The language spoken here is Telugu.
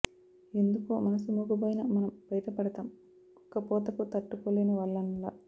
ఎందుకో మనసు మూగబోయిన మనం బయట పడతాం ఉక్కపోతకు తట్టుకోలేని వాళ్ళంలా